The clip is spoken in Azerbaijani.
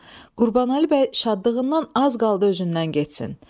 Qurbanəli bəy şadlığından az qaldı özündən getsin.